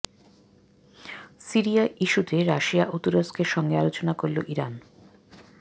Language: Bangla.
সিরিয়া ইস্যুতে রাশিয়া ও তুরস্কের সঙ্গে আলোচনা করল ইরান